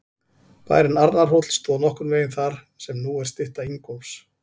Bærinn Arnarhóll stóð nokkurn veginn þar sem nú er stytta Ingólfs.